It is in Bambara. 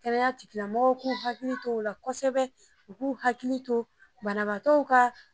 Kɛnɛya tigila mɔgɔw k'u hakili t'o la kosɛbɛ, u k'u hakili to banabaatɔw ka